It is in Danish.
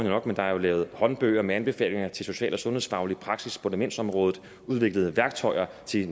nok der er jo lavet håndbøger med anbefalinger til social og sundhedsfaglig praksis på demensområdet udviklet værktøjer til